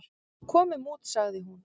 """Komum út, sagði hún."""